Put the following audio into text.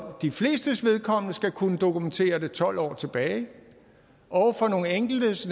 de flestes vedkommende skal kunne dokumentere det tolv år tilbage og for nogle enkeltes